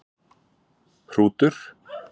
Hrútur